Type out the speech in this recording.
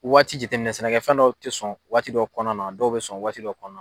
Waati jateminɛ sɛnɛkɛfɛn dɔw ti sɔn, waati dɔ kɔnɔna na dɔw bɛ sɔn waati dɔ kɔnɔna la